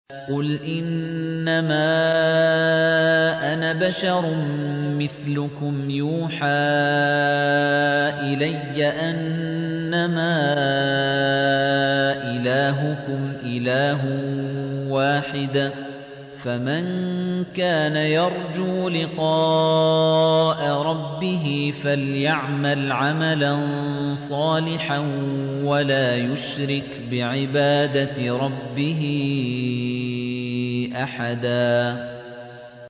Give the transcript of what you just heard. قُلْ إِنَّمَا أَنَا بَشَرٌ مِّثْلُكُمْ يُوحَىٰ إِلَيَّ أَنَّمَا إِلَٰهُكُمْ إِلَٰهٌ وَاحِدٌ ۖ فَمَن كَانَ يَرْجُو لِقَاءَ رَبِّهِ فَلْيَعْمَلْ عَمَلًا صَالِحًا وَلَا يُشْرِكْ بِعِبَادَةِ رَبِّهِ أَحَدًا